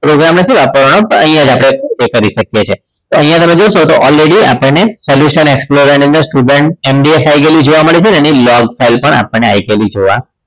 નથી વાપરવાનો પણ અહીંયા જ આપણી એ કરી શકીએ છીએ તો અહીંયા તમે જોશો તો already આપણને service ની અંદર student MVF આવી ગયેલું જોવા મળે છે એની log file પણ આવી ગયેલી જોવા મળે છે